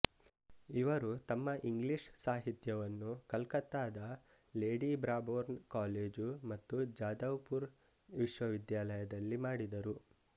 ಇವರು ತಮ್ಮ ಇಂಗ್ಲೀಷ್ ಸಾಹಿತ್ಯವನ್ನು ಕಲ್ಕತ್ತಾದ ಲೇಡಿ ಬ್ರಾಬೋರ್ನ್ ಕಾಲೇಜು ಮತ್ತು ಜದವ್ ಪುರ್ ವಿಶ್ವವಿದ್ಯಾಲಯದಲ್ಲಿ ಮಾಡಿದರು